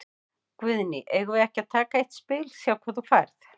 Guðný: Eigum við ekki að taka eitt spil, sjá hvað þú færð?